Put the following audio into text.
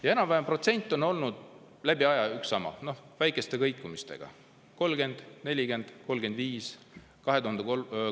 Ja enam-vähem protsent on olnud läbi aegade üks ja sama, väikeste kõikumistega: 30, 40, 35%.